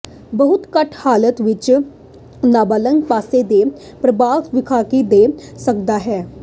ਬਹੁਤ ਘੱਟ ਹਾਲਾਤ ਵਿੱਚ ਨਾਬਾਲਗ ਪਾਸੇ ਦੇ ਪ੍ਰਭਾਵ ਵਿਖਾਈ ਦੇ ਸਕਦਾ ਹੈ